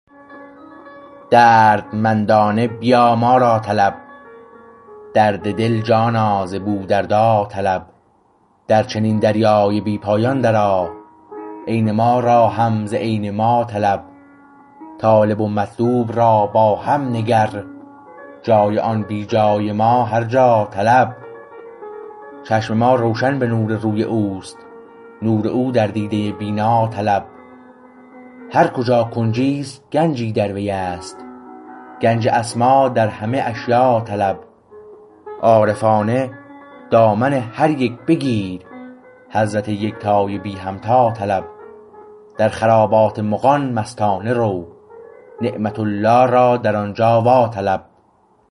دردمندانه بیا ما را طلب درد دل جانا ز بودردا طلب در چنین دریای بی پایان درآ عین ما را هم ز عین ما طلب طالب و مطلوب را با هم نگر جای آن بی جای ما هر جا طلب چشم ما روشن به نور روی اوست نور او در دیده بینا طلب هر کجا کنجیست گنجی در ویست گنج اسما در همه اشیا طلب عارفانه دامن هر یک بگیر حضرت یکتای بی همتا طلب در خرابات مغان مستانه رو نعمت الله را در آنجا وا طلب